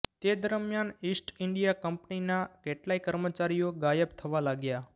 તે દરમિયાન East India કંપનીના કેટલાય કર્મચારીઓ ગાયબ થવા લાગ્યા